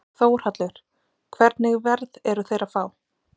Þórhallur: Hvernig verð eru þeir að fá?